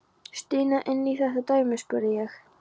Stína inn í þetta dæmi? spurði ég.